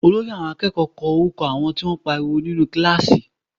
Olórí àwọn akẹ́kọ̀ọ́ kọ orúkọ àwọn tó ń pariwo nínú kíláàsì